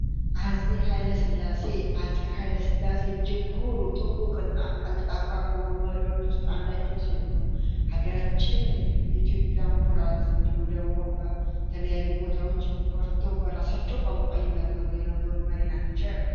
አፄ ሀይለ ስላሴ አፄ ኃይለ ሥላሴ እጅጉና ቀልጣፋ ከሆኑ መሪዎች ውስጥ አንዳቸው ሲሆን ሀገራችን የኢትዮጵያ ኩራት እንዲሁም ደግሞ በተለያዩ ቦታዎች ኮርታው በራሳቸው ቋንቋ ይናገሩ የነበሩ መሪ ናቸው።